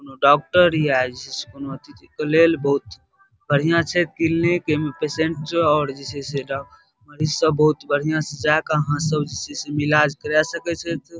कोनो डॉक्टर ये से कोनो अथी के लेल बहुत बढ़िया छै क्लिनिक एमे पैसेंट और जे छै से डॉ मैरिज सब बहुत बढ़िया से जाके आहा सब जे छै एमे ईलाज करे सके छैथ ।